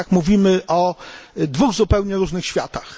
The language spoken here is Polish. My jednak mówimy o dwóch zupełnie różnych światach.